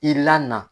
I la na